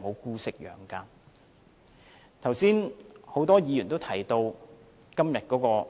剛才有很多議員都提到今天判刑的